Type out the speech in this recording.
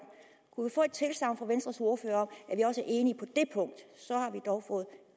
kunne vi få et tilsagn fra venstres ordfører om at vi også er enige på det punkt så har vi dog fået